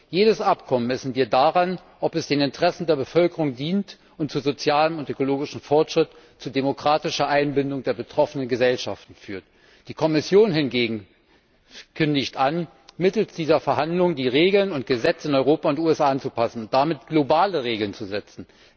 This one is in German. Jedes Abkommen messen wir daran, ob es den Interessen der Bevölkerung dient und zu sozialem und ökologischem Fortschritt, zu demokratischer Einbindung der betroffenen Gesellschaften führt. Die Kommission hingegen kündigt an, mittels dieser Verhandlungen die Regeln und Gesetze in Europa und den USA anzupassen und damit globale Regeln zu setzen.